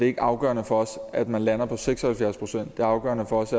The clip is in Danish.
ikke afgørende for os at man lander på seks og halvfjerds procent det afgørende for os